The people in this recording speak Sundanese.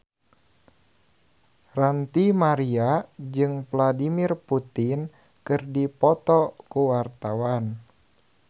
Ranty Maria jeung Vladimir Putin keur dipoto ku wartawan